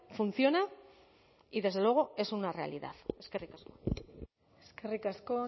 funciona y desde luego es una realidad eskerrik asko eskerrik asko